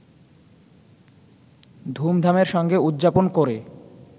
ধুমধামের সঙ্গে উদযাপন করে